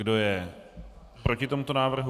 Kdo je proti tomuto návrhu?